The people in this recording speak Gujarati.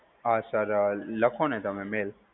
હા sir, લખો ને તમે mail.